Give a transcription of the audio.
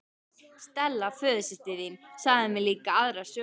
Stella föðursystir þín sagði mér líka aðra sögu af